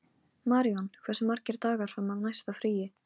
Maríon, hversu margir dagar fram að næsta fríi?